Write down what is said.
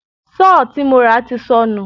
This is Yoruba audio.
Sọ́ọ̀ tí mo rà ti sọnù.